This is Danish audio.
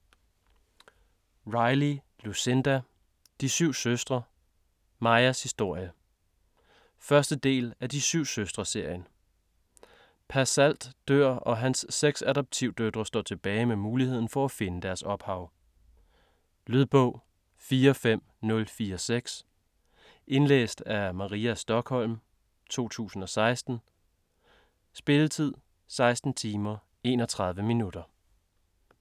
Riley, Lucinda: De syv søstre: Maias historie 1. del af De syv søstre-serien. Pa Salt dør og hans seks adoptivdøtre står tilbage med muligheden for at finde deres ophav. Lydbog 45046 Indlæst af Maria Stokholm, 2016. Spilletid: 16 timer, 31 minutter.